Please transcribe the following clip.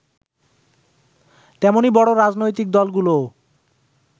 তেমনি বড় রাজনৈতিক দলগুলোও